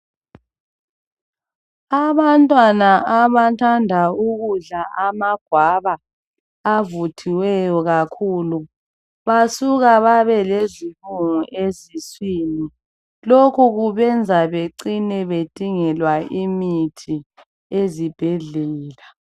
Abantwana abathanda ukudla ama guava avuthiweyo kakhulu basuke babe lezibungu esiswini lokhu kubenza becine bedingelwa imithi ezibhedlela